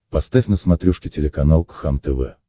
поставь на смотрешке телеканал кхлм тв